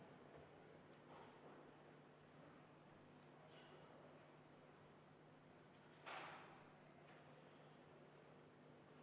Me oleme 42. ettepaneku juures, aga enne, kui me hääletama hakkame, teeme kohaloleku kontrolli.